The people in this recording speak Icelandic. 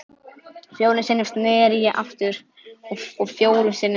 Fjórum sinnum sneri ég aftur og fjórum sinnum sagði